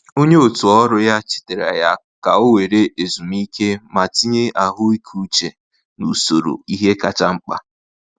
Onye otù ọrụ ya chetaara ya ka ọ were ezumike ma tinye ahụike uche n’usoro ihe kacha mkpa.